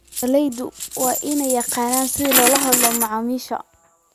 Beeraleydu waa inay yaqaaniin sida loola hadlo macaamiisha.